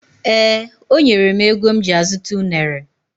Ee, o nyela m ego m ji azuta unere.